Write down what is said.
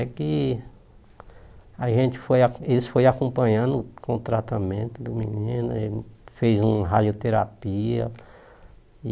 É que a gente foi a eles foram acompanhando com o tratamento do menino, ele fez uma radioterapia e...